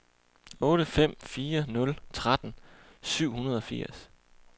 otte fem fire nul tretten syv hundrede og firs